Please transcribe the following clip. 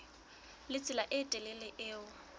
le tsela e telele eo